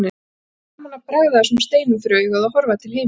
Það var gaman að bregða þessum steinum fyrir augað og horfa til himins.